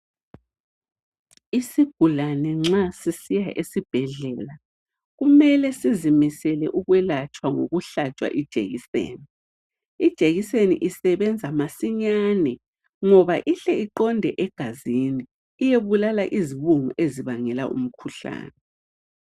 Isigulane nxa sisiya esibhedlela kumele sizimisele ukwelatshwa ngokuhlatshwa ijekiseni. Ijekiseni isebenza masinyane ngoba ihle iqonde egazini iyebulala izibungu ezibangela umkhuhlane.